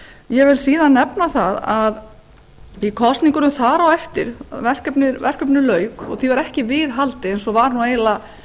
ég vil síðan nefna það að í kosningunum þar á eftir verkefninu lauk og því var ekki viðhaldið eins og var nú